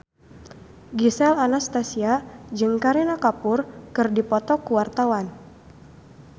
Gisel Anastasia jeung Kareena Kapoor keur dipoto ku wartawan